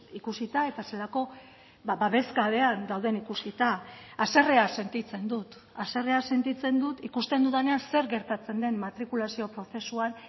ikusita eta zelako babesgabean dauden ikusita haserrea sentitzen dut haserrea sentitzen dut ikusten dudanean zer gertatzen den matrikulazio prozesuan